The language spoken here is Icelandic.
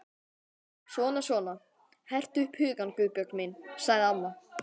Svona svona, hertu upp hugann, Guðbjörg mín sagði amma.